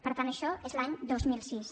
per tant això és l’any dos mil sis